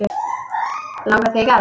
Langar þig í garð?